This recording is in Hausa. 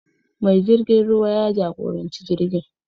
Mai jirgin ruwa ya jagoranci jirgin.